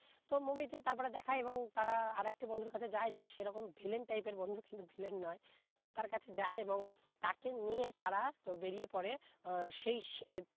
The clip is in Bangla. তো movie তে তার পরে দেখায় এবং তারা আরেকটি বন্ধুর কাছে যায় যে সে তখন villein type এর বন্ধু কিন্তু villein নয় তার কাছে যায় এবং তাকে নিয়ে তারা তো বেরিয়ে পরে আহ সেই